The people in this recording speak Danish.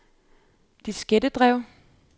diskettedrev